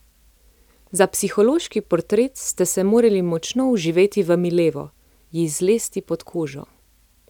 Za psihološki portret ste se morali močno vživeti v Milevo, ji zlesti pod kožo.